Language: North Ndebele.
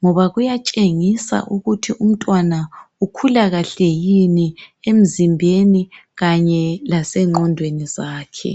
ngoba kuyatshengisa ukuthi umntwana ukhula kahle yini emzimbeni kanye lasengqondweni zakhe.